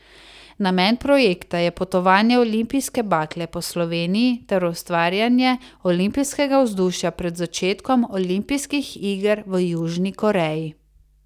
Namen projekta je potovanje olimpijske bakle po Sloveniji ter ustvarjanje olimpijskega vzdušja pred začetkom olimpijskih iger v Južni Koreji.